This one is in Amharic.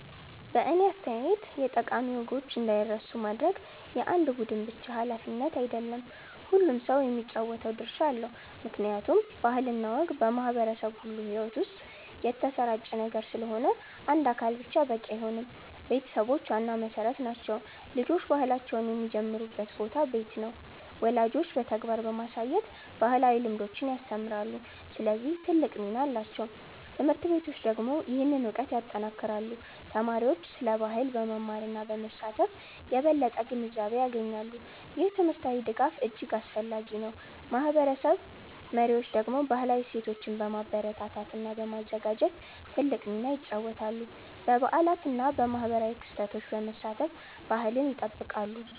በእኔ አስተያየት የጠቃሚ ወጎችን እንዳይረሱ ማድረግ የአንድ ቡድን ብቻ ሃላፊነት አይደለም፤ ሁሉም ሰው የሚጫወተው ድርሻ አለው። ምክንያቱም ባህል እና ወግ በማህበረሰብ ሁሉ ሕይወት ውስጥ የተሰራጨ ነገር ስለሆነ አንድ አካል ብቻ በቂ አይሆንም። ቤተሰቦች ዋና መሠረት ናቸው። ልጆች ባህላቸውን የሚጀምሩበት ቦታ ቤት ነው። ወላጆች በተግባር በማሳየት ባህላዊ ልምዶችን ያስተምራሉ፣ ስለዚህ ትልቅ ሚና አላቸው። ት/ቤቶች ደግሞ ይህንን እውቀት ያጠናክራሉ። ተማሪዎች ስለ ባህል በመማር እና በመሳተፍ የበለጠ ግንዛቤ ያገኛሉ። ይህ ትምህርታዊ ድጋፍ እጅግ አስፈላጊ ነው። ማህበረሰብ መሪዎች ደግሞ ባህላዊ እሴቶችን በማበረታታት እና በማዘጋጀት ትልቅ ሚና ይጫወታሉ። በበዓላት እና በማህበራዊ ክስተቶች በመሳተፍ ባህልን ይጠብቃሉ።